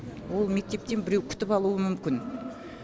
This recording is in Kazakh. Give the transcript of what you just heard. ол мектептен біреу күтіп алуы мүмкін